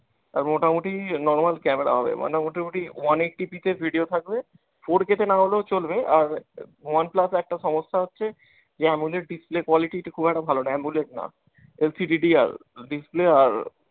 আর মোটামুটি normal camera হবে, মানে মোটামুটি one eighty P তে video থাকবে, four K তে না হলেও চলবে আর one plus এর একটা সমস্যা হচ্ছে যে amoled display quality টা খুব একটা ভালো না, amoled না। ঐ display আর